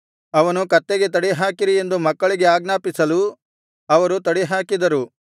ಅವನು ಕತ್ತೆಗೆ ತಡಿಹಾಕಿರಿ ಎಂದು ಮಕ್ಕಳಿಗೆ ಆಜ್ಞಾಪಿಸಲು ಅವರು ತಡಿಹಾಕಿದರು